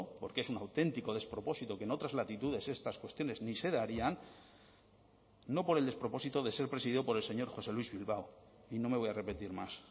porque es un auténtico despropósito que en otras latitudes estas cuestiones ni se darían no por el despropósito de ser presidido por el señor josé luis bilbao y no me voy a repetir más